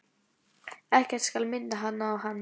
Ekkert skal minna hana á hann.